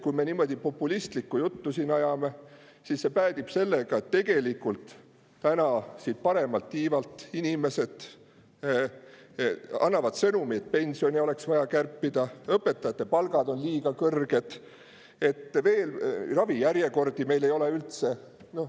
Kui me niimoodi populistlikku juttu siin ajame, siis see päädib sellega, et tegelikult siit paremalt tiivalt annavad inimesed sõnumeid, et pensione oleks vaja kärpida, õpetajate palgad on liiga kõrged, ravijärjekordi meil ei ole üldse.